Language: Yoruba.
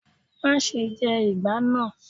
Máa se jẹ ìgbá náà.